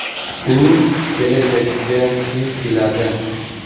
U kelajakka intiladi.